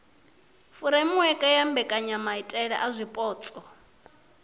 furemiweke ya mbekanyamaitele a zwipotso